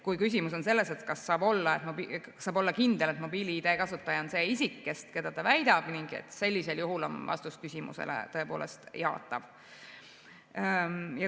Kui küsimus on selles, kas saab olla kindel, et mobiil‑ID kasutaja on see isik, keda ta väidab ennast olevat, sellisel juhul on vastus küsimusele jaatav.